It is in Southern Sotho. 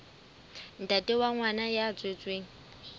ntate wa ngwana ya tswetsweng